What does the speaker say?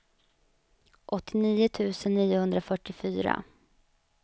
åttionio tusen niohundrafyrtiofyra